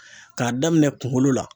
Ka daminɛ kunkolo la